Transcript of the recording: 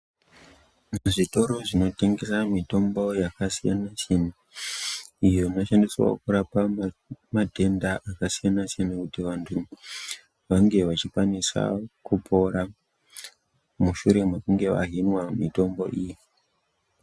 Zvitoro zvinotengesa mitombo yakasiyana siyana iyo inoshandiswa kurapa matenda akasiyana siyana kuti vantu vange vachikwanisa kupora mushure mekunge vahinwa mitombo iyi.